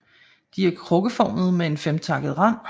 De er krukkeformede med en femtakket rand